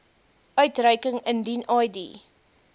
uitreiking indien id